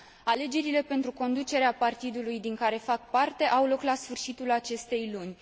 Alegerile pentru conducerea partidului din care fac parte au loc la sfârșitul acestei luni.